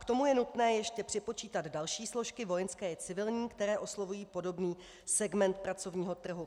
K tomu je nutné ještě připočítat další složky vojenské i civilní, které oslovují podobný segment pracovního trhu.